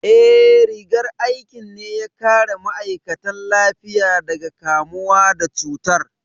Eh, rigar aikin ne ya kare ma'aikatan lafiya daga kamuwa da cutar